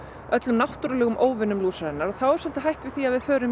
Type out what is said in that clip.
öllum náttúrulegum óvinum lúsarinnar og þá er svolítið hætt við því að við förum